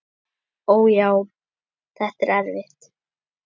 Ó, já, þetta er erfitt.